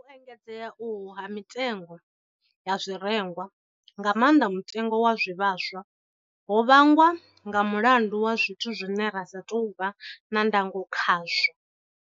U engedzea uhu ha mitengo ya zwirengwa, nga maanḓa mutengo wa zwivhaswa, ho vhangwa nga mulandu wa zwithu zwine ra sa tou vha na ndango khazwo.